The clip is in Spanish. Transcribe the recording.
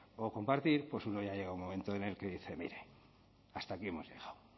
o compartir pues uno ya llega un momento en el que dice mire hasta aquí hemos llegado